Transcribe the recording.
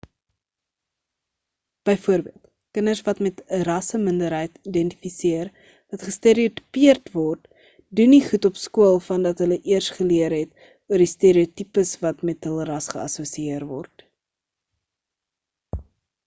byvoorbeeld kinders wat met 'n rasseminderheid identifiseer wat gestereotipeerd word doen nie goed op skool vandat hulle eers geleer het oor die stereotipes wat met hul ras geassosieer word